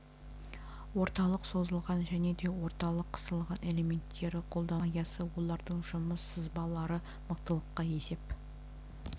орталық созылған және де орталық қысылған элементтері қолдану аясы олардың жұмыс сызбалары мықтылыққа есеп